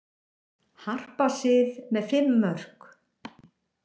Harpa Sif með fimm mörk